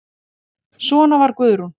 Svona var Guðrún.